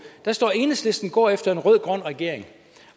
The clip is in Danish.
der står enhedslisten går efter en rød grøn regering